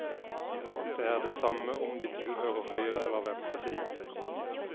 Det er det samme om de tilhører høyre eller venstresiden.